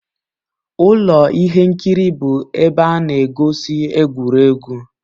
Ụlọ ihe nkiri bụ ebe a na-egosi egwuregwu.